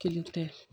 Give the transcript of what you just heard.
Kelen tɛ